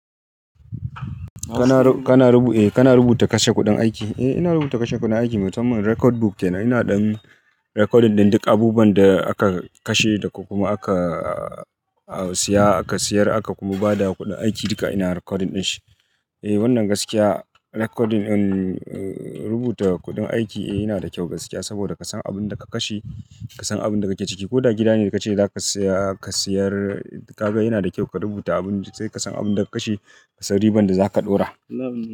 Kana rubuta kashe kuɗin aiki? Eh ina rubuta kashe kuɗin aiki, mu samman record book kenan. Ina ɗan recording ɗin duk abubuwan da aka kashe da kokuma aka siya, aka siyar aka kuma ba da kuɗin aiki. Duka ina recording din shi. Wannan gaskiya recording rubuta kuɗin aiki yana da kyau gaskiya saboda ka san abun da ka kashe, ka san abun da ka keciki. Ko da gidane da kace zaka siya, ka sayar. Ka ga yana da kyau ka rubuta abun da sai ka san abun da ka kashe, ka san riban da zaka ɗora.